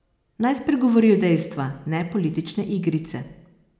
Naj spregovorijo dejstva, ne politične igrice.